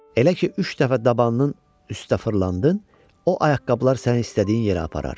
Elə ki, üç dəfə dabanının üstə fırlandın, o ayaqqabılar səni istədiyin yerə aparar.